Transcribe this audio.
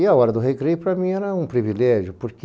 E a hora do recreio, para mim, era um privilégio, porque